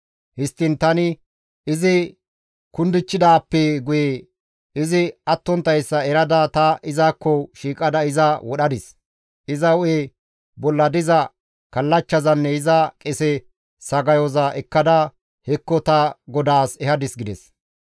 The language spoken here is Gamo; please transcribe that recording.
Histtiin tani izi kundichchidaappe guye izi attonttayssa erada ta izakko shiiqada iza wodhadis. Iza hu7e bolla diza kallachchazanne iza qese sagayoza ekkada hekko ta godaas ehadis» gides.